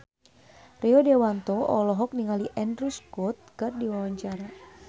Rio Dewanto olohok ningali Andrew Scott keur diwawancara